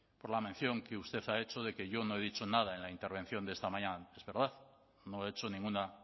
por la mención que usted ha hecho de que yo no he dicho nada en la intervención de esta mañana es verdad no he hecho ninguna